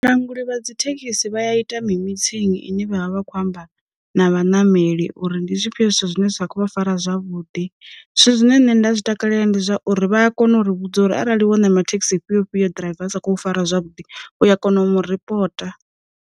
Languli vha dzi thekhisi vha ya ita mi mithini ine vha vha vha khou amba na vhanameli uri ndi zwifhio zwithu zwine zwa kho vha fara zwavhuḓi. Zwithu zwine nṋe nda zwi takalela ndi zwauri vha a kona u ri vhudza uri arali wo namela thekhisi i fhio fhio ḓiraiva a sa khou fara zwavhuḓi u ya kona u mu ripota.